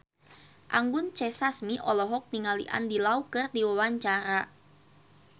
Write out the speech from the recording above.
Anggun C. Sasmi olohok ningali Andy Lau keur diwawancara